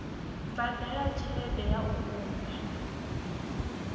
badela tshelede ya u unḓa